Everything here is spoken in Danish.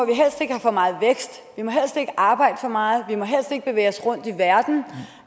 helst ikke arbejde for meget vi må helst ikke bevæge os rundt i verden